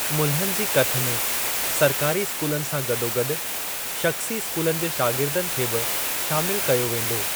मुल्हनि जी कथ में सरकारी स्कूलनि सां गॾोगॾु शख़्सी स्कूलनि जे शागिर्दनि खे बि शामिल कयो वेंदो।